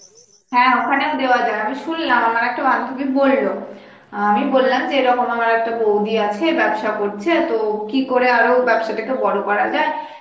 হ্যাঁ ওখানেও দেওয়া যায় আমি শুনলাম আমার একটা বান্ধবী বলল, অ্যাঁ আমি বললাম যে এরকম আমার একটা বৌদি আছে ব্যবসা করছে তো কি করে আরো ব্যবসাটাকে বড় করা যায়